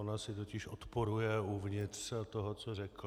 Ona si totiž odporuje uvnitř toho, co řekl.